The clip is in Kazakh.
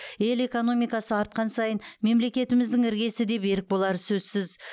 ел экономикасы артқан сайын мемлекетіміздің іргесі де берік болары сөзсіз